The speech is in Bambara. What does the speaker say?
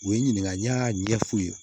U ye n ɲininka n y'a ɲɛf'u ye